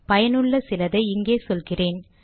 பயனுள்ள சிலதை இங்கே சொல்கிறேன்